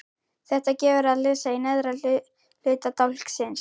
Þetta gefur að lesa í neðra hluta dálksins